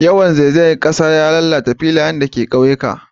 Yawan zaizayar kasa ya lalata filayen da ke ƙauyena